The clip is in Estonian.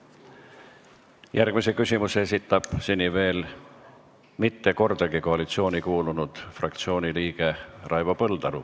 Järgmise küsimuse esitab seni veel mitte kordagi koalitsiooni kuulunud fraktsiooni liige Raivo Põldaru.